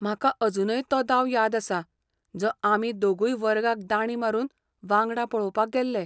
म्हाका अजूनय तो दाव याद आसा जो आमी दोगुय वर्गाक दांडी मारून वांगडा पळोवपाक गेल्ले.